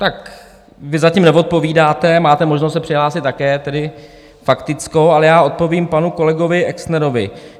Tak vy zatím neodpovídáte, máte možnost se přihlásit také tedy faktickou, ale já odpovím panu kolegovi Exnerovi.